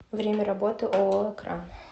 время работы ооо экран